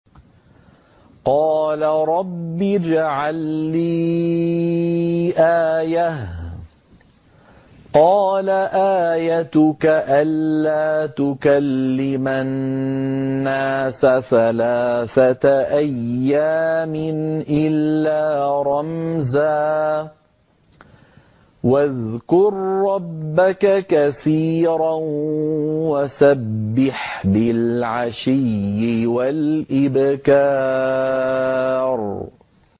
قَالَ رَبِّ اجْعَل لِّي آيَةً ۖ قَالَ آيَتُكَ أَلَّا تُكَلِّمَ النَّاسَ ثَلَاثَةَ أَيَّامٍ إِلَّا رَمْزًا ۗ وَاذْكُر رَّبَّكَ كَثِيرًا وَسَبِّحْ بِالْعَشِيِّ وَالْإِبْكَارِ